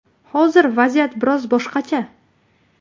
Hozir vaziyat biroz boshqacha.